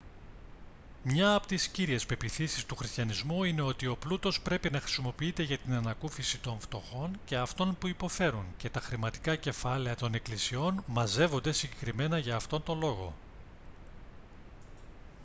μια από τις κύριες πεποιθήσεις του χριστιανισμού είναι ότι ο πλούτος πρέπει να χρησιμοποιείται για την ανακούφιση των φτωχών και αυτών που υποφέρουν και τα χρηματικά κεφάλαια των εκκλησιών μαζεύονται συγκεκριμένα για αυτόν τον λόγο